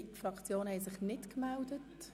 Es haben sich keine weiteren Fraktionen gemeldet.